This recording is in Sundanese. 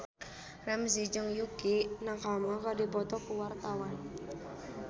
Ramzy jeung Yukie Nakama keur dipoto ku wartawan